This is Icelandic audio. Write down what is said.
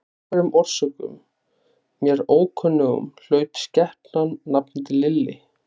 Af einhverjum orsökum, mér ókunnum, hlaut skepnan nafnið Lilli.